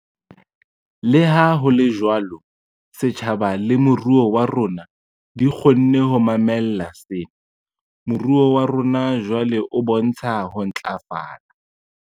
Leha ho le jwalo, setjhaba le moruo wa rona di kgonne ho mamella sena. Moruo wa rona jwale o bontsha ho ntlafala.